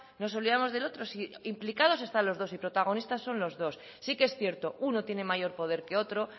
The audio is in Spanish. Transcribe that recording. nos olvidamos del otro si implicados están los dos y protagonistas son los dos sí que es cierto uno tiene mayor poder que otro